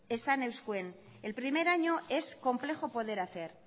esan euskuen el primer año es complejo poder hacer